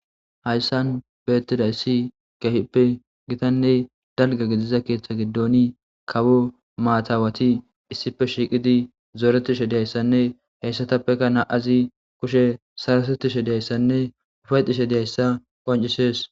hayssan beettidayssi kehippe gitanne dalga gidiza keeththa giddoni kawo maatawati issife shiiqidi zooretishe diyayssanne heyssatappeka naa7azi kushe sarasottishe diyayssanne ufayxishe diyayssa qancisees